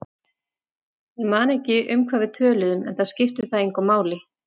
Ég man ekki um hvað við töluðum, enda skipti það engu máli.